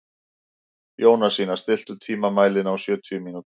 Jónasína, stilltu tímamælinn á sjötíu mínútur.